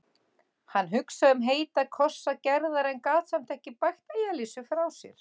Hann hugsaði um heita kossa Gerðar en gat samt ekki bægt Elísu frá sér.